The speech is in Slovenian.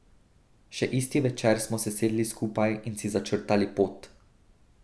Še isti večer smo se sedli skupaj in si začrtali pot.